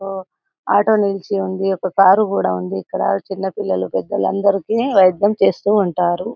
అ auto నీచోని ఉన్నది ఒక కార్ కూడా ఉంది ఇక్కడ చిన్న పిల్లలు పెద్దవాళ్లు అందరికి వైద్యము చేస్తుంటారు